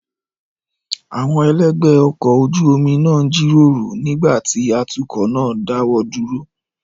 Àwọn elegbe ọkọ̀ ojú omi náà ń jíròrò nígbà tí atukọ̀ náà dáwọ́ dúró.